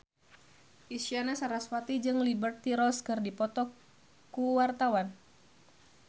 Isyana Sarasvati jeung Liberty Ross keur dipoto ku wartawan